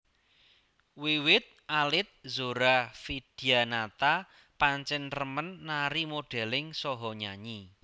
Wiwit alit Zora Vidyanata pancén remen nari modeling saha nyanyi